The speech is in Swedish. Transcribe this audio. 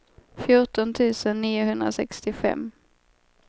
fjorton tusen niohundrasextiofem